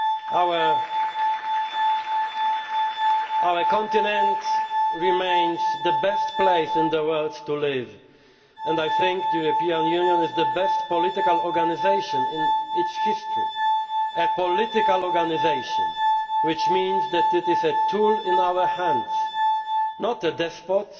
and vital. Our continent remains the best place in the world to live, and I think the European Union is the best political organisation in its history a political organisation, which means that it is a tool in our hands, not